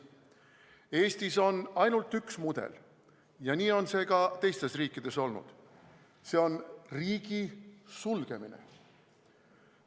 Eestis on ainult üks mudel ja nii on see ka teistes riikides olnud – see on riigi sulgemine.